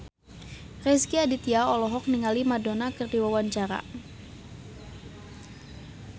Rezky Aditya olohok ningali Madonna keur diwawancara